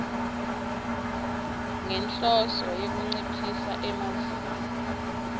ngenhloso yekunciphisa emazinga